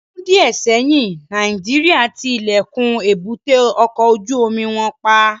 Ni ọdun diẹ sẹyin, Nàìjíríà ti ilẹkun èbúté ọkọ ojú omi wọn pa